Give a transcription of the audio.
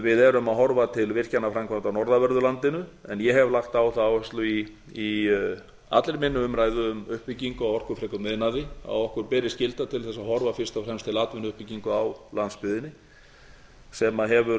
við erum að horfa til virkjanaframkvæmda á norðanverðu landinu en ég hef lagt á það áherslu í allri minni umræðu um uppbyggingu á orkufrekum iðnaði að okkur beri skylda til þess að horfa fyrst og fremst til atvinnuuppbyggingar á landsbyggðinni sem hefur